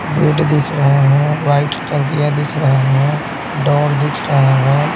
Bed दिख रहे हैं वाइट तकिया दिख रहे हैं डोर दिख रहे हैं।